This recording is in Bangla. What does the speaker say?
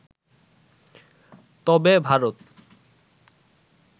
তবে ভারত